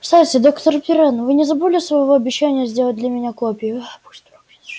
кстати доктор пиренн вы не забыли своего обещания сделать для меня копию